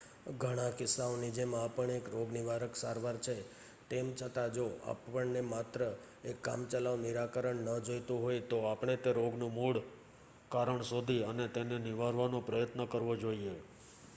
ઘણા કિસ્સાઓની જેમ આ પણ એક રોગનિવારક સારવાર છે તેમ છતાં જો આપણને માત્ર એક કામચલાઉ નિરાકરણ ન જોતું હોય તો આપણે તે રોગનું મૂળ કારણ શોધી અને તેને નિવારવાનો પ્રયત્ન કરવો જોઈએ